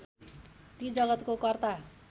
ती जगतको कर्ता